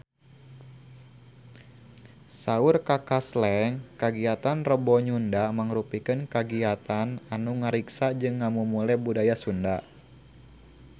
Saur Kaka Slank kagiatan Rebo Nyunda mangrupikeun kagiatan anu ngariksa jeung ngamumule budaya Sunda